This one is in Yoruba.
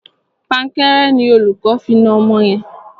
Pankẹ́rẹ́ ni olùkó fi na ọmọ yẹn.